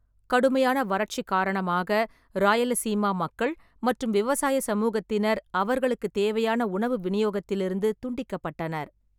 கடுமையான வறட்சி காரணமாக, ராயலசீமா மக்கள் மற்றும் விவசாய சமூகத்தினர், அவர்களுக்குத் தேவையான உணவு விநியோகத்திலிருந்து துண்டிக்கப்பட்டனர்.